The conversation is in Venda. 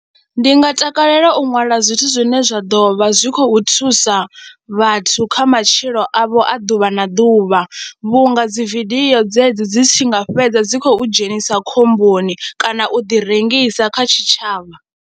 Ndi nga takalela u ṅwala zwithu zwine zwa ḓo vha zwi khou thusa vhathu kha matshilo avho a ḓuvha na ḓuvha vhunga dzi vidio dzedzi dzi tshi nga fhedza dzi khou dzhenisa khomboni kana u ḓirengisa kha tshitshavha,